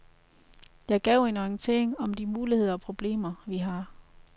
Jeg gav en orientering om de muligheder og problemer, vi har.